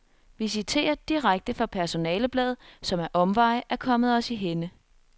Vi citerer direkte fra personalebladet, som ad omveje er kommet os i hænde.